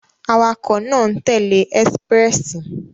Awakọ̀ náà n tẹle Expréssi